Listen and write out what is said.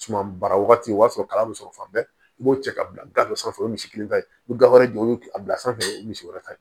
Suma baara wagati o b'a sɔrɔ kalan bɛ sɔrɔ fan bɛɛ i b'o cɛ ka bila gafe sanfɛ o ye misi kelen ta ye i bɛ gafe wɛrɛ jɔ o ye a bila sanfɛ o ye misi wɛrɛ ta ye